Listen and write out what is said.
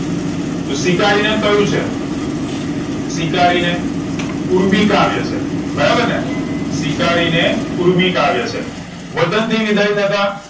સ્વીકારીને કયું છે સ્વીકારીને ઊર્મિકાવ્ય છે બરાબર ને સ્વીકારીને ઊર્મિકાવ્ય છે વતન થી વિદાય થતા